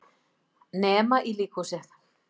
Nema í líkhúsið.